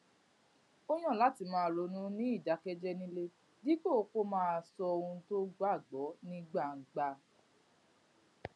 ó yàn láti máa ronú ní ìdákéjéé nílé dípò kó máa sọ ohun tó gbàgbó ní gbangba